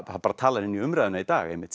bara talar inn í umræðuna í dag einmitt